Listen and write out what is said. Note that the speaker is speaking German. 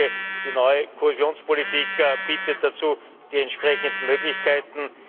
Ich denke, die neue Kohäsionspolitik bietet dazu die entsprechenden Möglichkeiten.